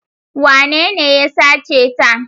Wanene ya sace ta?